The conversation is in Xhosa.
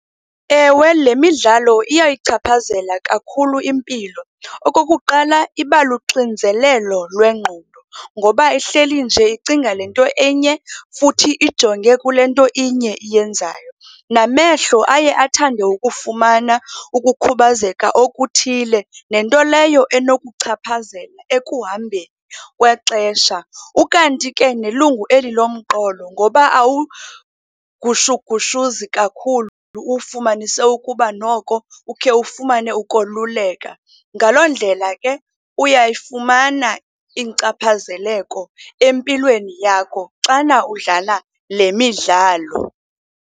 Ewe, le midlalo iyayichaphazela kakhulu impilo. Okokuqala iba luxinzelelo lwengqondo ngoba ehleli nje icinga le nto enye, futhi ijonge kule nto inye iyenzayo. Namehlo aye athande ukufumana ukukhubazeka okuthile, nento leyo enokuchaphazela ekuhambeni kwexesha. Ukanti ke nelungu eli lomqolo ngoba awugushugushuzi kakhulu, uwufumanise ukuba noko ukhe ufumane ukoluleka. Ngaloo ndlela ke uyayifumana inkcaphazeleko empilweni yakho xana udlala le midlalo.